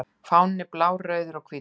Fáninn er blár, rauður og hvítur.